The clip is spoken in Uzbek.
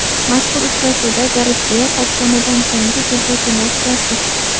Mazkur uchrashuvda Garet Beyl qaytganidan keyingi debyutini o‘tkazdi.